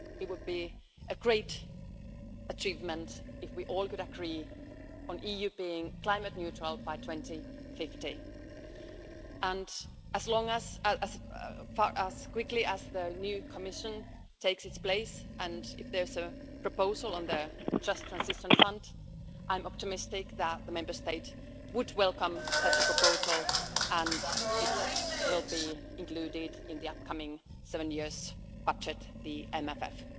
It would be a great achievement if we all could agree on EU being climate neutral by 2050. And as soon as the new Commission takes its place, and if there's a proposal on the Just Transition Fund, I'm optimistic that the Member States would welcome such a proposal and it will be included in the upcoming seven year budget, the MFF.